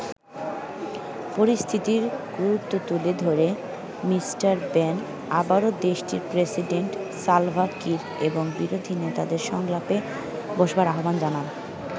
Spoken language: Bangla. পরিস্থিতির গুরুত্ব তুলে ধরে মিস্টার ব্যান আবারো দেশটির প্রেসিডেন্ট সালভা কির এবং বিরোধী নেতাদেরকে সংলাপে বসবার আহ্বান জানান।